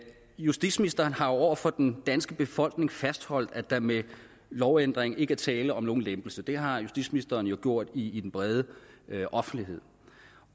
justitsministeren har jo over for den danske befolkning fastholdt at der med lovændring ikke er tale om nogen lempelse det har justitsministeren jo gjort i den brede offentlighed